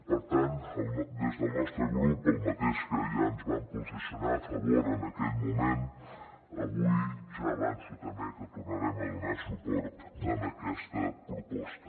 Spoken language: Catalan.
per tant des del nostre grup el mateix que ja ens vam posicionar a favor en aquell moment avui ja avanço també que tornarem a donar suport a aquesta proposta